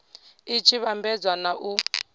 i tshi vhambedzwa na u